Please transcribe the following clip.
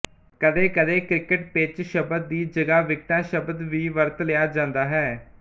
ਕਦੇਕਦੇ cricket pitch ਸ਼ਬਦ ਦੀ ਜਗ੍ਹਾ ਵਿਕਟਾਂ ਸ਼ਬਦ ਵੀ ਵਰਤ ਲਿਆ ਜਾਂਦਾ ਹੈ